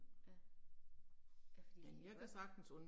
Ja. Ja fordi jeg kan godt